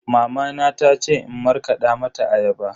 Mamana ta ce in markada mata ayaba.